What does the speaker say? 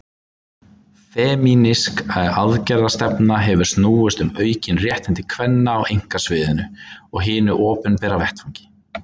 Femínísk aðgerðastefna hefur snúist um aukin réttindi kvenna á einkasviðinu og hinum opinbera vettvangi.